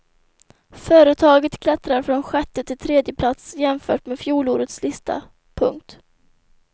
Företaget klättrar från sjätte till tredje plats jämfört med fjolårets lista. punkt